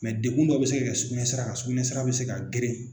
Mɛ degkun dɔ bɛ se ka sugunɛ sira kan, sugunɛ sira bɛ se ka geren .